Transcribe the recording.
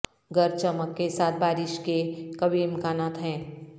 گرج چمک کے ساتھ بارش کے قوی امکانات ہیں